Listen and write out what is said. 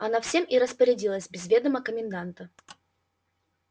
она всем и распорядилась без ведома коменданта